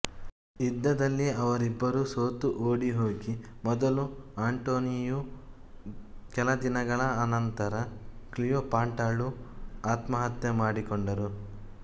ಯುದ್ಧದಲ್ಲಿ ಅವರಿಬ್ಬರೂ ಸೋತು ಓಡಿಹೋಗಿ ಮೊದಲು ಆಂಟೊನಿಯೂ ಕೆಲದಿನಗಳ ಅನಂತರ ಕ್ಲೀಯೊಪಾಟ್ರಳೂ ಆತ್ಮಹತ್ಯ ಮಾಡಿಕೊಂಡರು